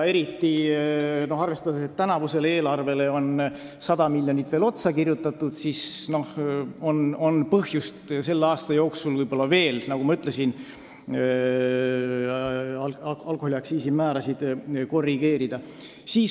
Kuna tänavusele eelarvele on 100 miljonit veel otsa kirjutatud, siis on võib-olla põhjust selle aasta jooksul edaspidigi alkoholiaktsiisi määrasid korrigeerida.